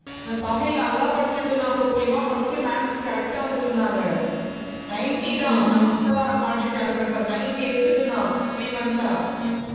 தமிழ் நல்லா படிச்சுட்டு இருந்தான் கோகிமா. first ma'ams correct ஆ வந்திட்டு இருந்தாங்க. ninety தான் mark sheet அனுப்புறேன் பாரு, ninety எடுத்துட்டு நான் three month ஆ